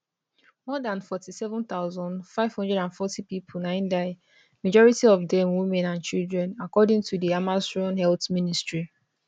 more dan 47540 pipo na im die majority of dem women and children according to di hamasrun health ministry